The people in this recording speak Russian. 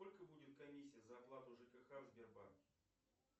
сколько будет комиссия за оплату жкх в сбербанке